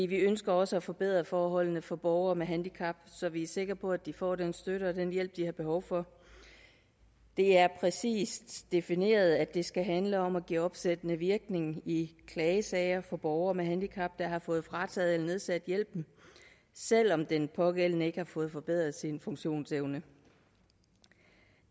vi ønsker også at forbedre forholdene for borgere med handicap så vi er sikre på at de får den støtte og den hjælp de har behov for det er præcist defineret at det skal handle om at give opsættende virkning i klagesager for borgere med handicap der har fået frataget eller nedsat hjælpen selv om den pågældende ikke har fået forbedret sin funktionsevne